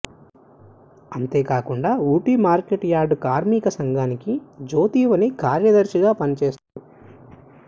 అంతే కాకుండా Ooty market yard కార్మిక సంఘానికి జ్యోతిమణి కార్యదర్శిగా పని చేస్తున్నాడు